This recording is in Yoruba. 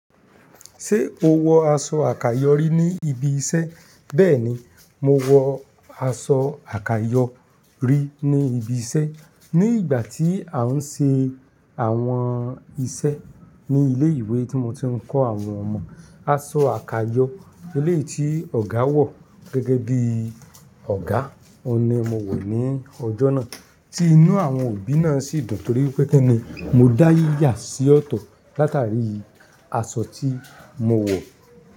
Ṣé o wọ aṣọ àkàyọ́ rí ní ibi iṣẹ́? Bẹ́ẹ̀ni, mo wọ aṣọ àkàyọ́ rí ní ibi iṣẹ́ ní ìgbà tí à ń ṣe àwọn iṣẹ́ ní ilé ìwé tí mo ti ń kọ́ àwọn ọmọ. Aṣọ àkàyọ́ eléeyì tí Ọ̀gá wọ̀ gẹ́gẹ́ bí Ọ̀gá, òun ni mo wò ní ọjọ́ náà tí inú àwọn òbí náà sì dùn torí pé kin ni mo dá yíyà sí ọ̀tọ̀ látàrí aṣọ tí mo wọ̀